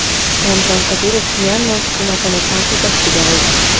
Ramzan Qodirov Myanma hukumatini tanqid ostiga oldi.